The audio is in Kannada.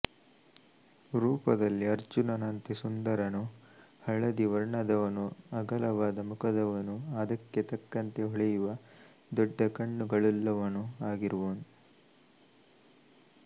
ರೂಪದಲ್ಲಿ ಅರ್ಜುನನಂತೆ ಸುಂದರನೂ ಹಳದಿ ವರ್ಣದವನೂ ಅಗಲವಾದ ಮುಖದವನೂ ಅದಕ್ಕೆ ತಕ್ಕಂತೆ ಹೊಳೆಯುವ ದೊಡ್ಡ ಕಣ್ಣುಗಳುಳ್ಳವನು ಆಗಿರುವನು